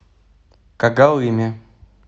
когалыме